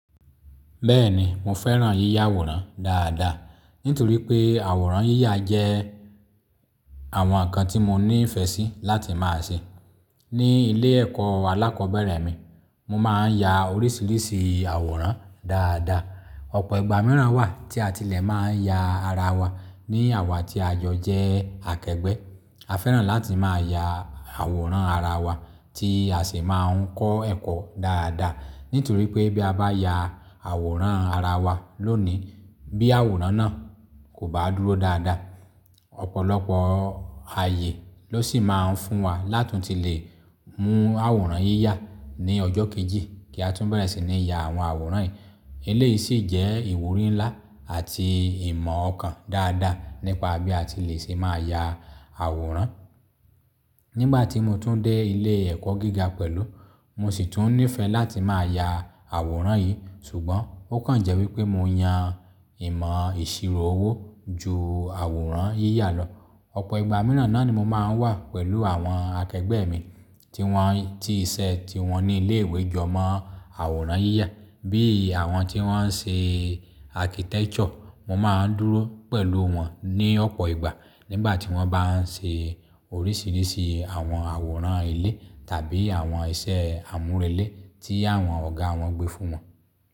Bẹ́ẹ̀ni, mo fẹ́ràn yíyà àwòrán dáadáa, nítorí pé àwòrán yíyà jẹ́ àwọn nǹkan tí mo ní ìfẹ́ sí láti máa ṣe. Ni ilé ẹ̀kọ́ alákọ̀ọ́bẹ̀rẹ̀ mi, mo máa ń ya oríṣiríṣi àwòrán dáadáa. Ọ̀pọ̀ ìgbà mìíràn wà tí a tilẹ̀ máa ń ya ara wa ní àwá tí àjọ jẹ́ akẹgbẹ́. A fẹ́ràn láti máa ya àwòrán ara wa tí a sì máa ń kọ́ ẹ̀kọ́ dáadáa. Nítorí pé bí a bá ya àwòrán ara wa lónìí, bí àwòrán náà kò bá dúró dáadáa, ọ̀pọ̀lọpọ̀ ààyè ló sì máa ń fún wa láti tún lè mú àwòrán yíyà ní ọjọ́ kejì kí a tún bẹ̀rẹ̀ sí ní ya àwọn àwòrán yìí. Ilé yìí sì jẹ́ ìwúrí ńlá àti ìmọ̀ ọkàn dáadáa nípa bí a tilẹ̀ ṣe máa ya àwòrán. Nígbà tí mo tún dé ilé ẹ̀kọ́ gíga pẹ̀lú, mo sì tún nífẹ̀ẹ́ láti máa ya àwòrán yìí, ṣùgbọ́n ó kàn jẹ́ wí pé mo yan ìmọ̀ ìṣirò owó ju àwòrán yíyà lọ. Ọ̀pọ̀ ìgbà mìíràn náà ni mo máa ń wà pẹ̀lú àwọn akẹgbẹ́ mi tí wọ́n, tí iṣẹ́ tí wọ́n ní ilé ìwé jọ mọ́ àwòrán yíyà, bí i àwọn tí wọ́n ń ṣe architecture. Mo máa ń dúró pẹ̀lú wọn ní ọ̀pọ̀ ìgbà nígbà tí wọ́n bá ń ṣe oríṣiríṣi àwọn àwòrán ilé tàbí àwọn iṣẹ́ àmúrelé tí àwọn ọ̀gá wọn gbé fún wọn.